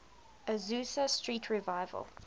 azusa street revival